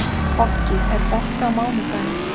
Koggi, er bolti á mánudaginn?